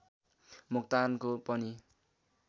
मोक्तानको पनि